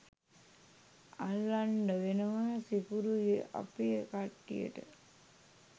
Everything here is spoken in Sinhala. අල්ලන්ඩ වෙනවා සිකුරුයි අපේ කට්ටියට.